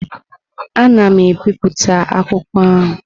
Ana m ebipụta akwụkwọ ahụ.